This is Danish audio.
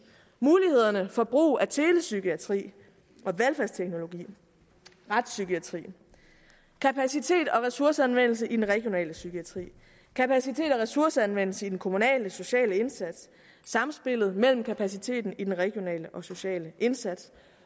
mulighederne for brug af telepsykiatri og velfærdsteknologi retspsykiatrien kapacitet og ressourceanvendelse i den regionale psykiatri kapacitet og ressourceanvendelse i den kommunale sociale indsats samspillet mellem kapaciteten i den regionale og sociale indsats